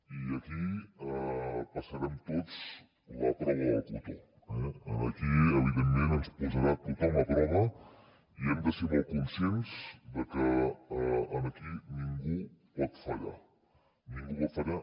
i aquí passarem tots la prova del cotó eh aquí evidentment ens posarà tothom a prova i hem de ser molt conscients de que aquí ningú pot fallar ningú va fallar